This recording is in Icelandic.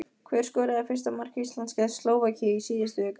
Hver skoraði fyrsta mark Íslands gegn Slóvakíu í síðustu viku?